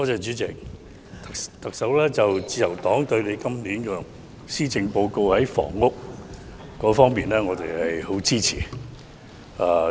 主席，自由黨對今年施政報告房屋方面的措施十分支持。